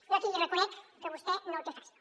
jo aquí li reconec que vostè no ho té fàcil